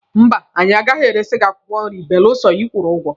Mba, anyị agaghị eresi gị akwụkwọ nri belụsọ ịkwụrụ ụgwọ.